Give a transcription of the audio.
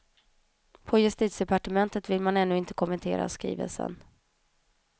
På justitiedepartementet vill man ännu inte kommentera skrivelsen.